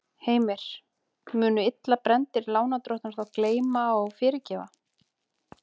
Heimir: Munu illa brenndir lánadrottnar þá gleyma og fyrirgefa?